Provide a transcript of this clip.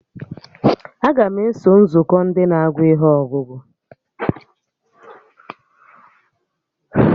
Aga m eso nzukọ Ndị na-agụ ihe ọgụgụ